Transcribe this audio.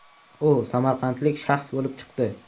U samarqandlik shaxs bo‘lib chiqdi.